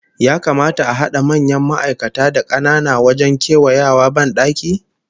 Ya kamata a hada manyan ma'aikata da kanana wajen kewayawa bandaki?